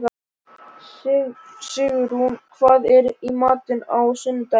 Sigurunn, hvað er í matinn á sunnudaginn?